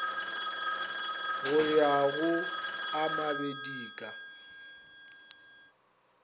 go ya go a mabedika